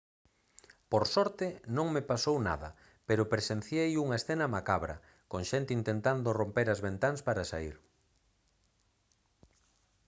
«por sorte non me pasou nada pero presenciei unha escena macabra con xente intentando romper as ventás para saír